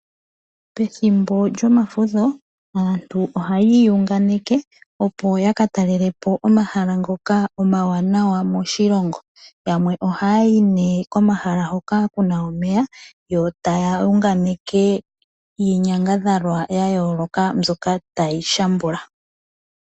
Pethimbo lyomafutho aantu ohayi iyunganeke opo ya ka talele po omahala ngoka omawaanawa moshilongo. Yamwe ohaya yi ne komahala hoka ku na omeya, yo taya yunganeke iinyangadhalwa ya yooloka mbyoka tayi shambula.